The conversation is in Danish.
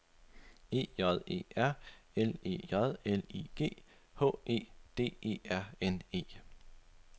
E J E R L E J L I G H E D E R N E